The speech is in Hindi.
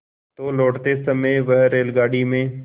तो लौटते समय वह रेलगाडी में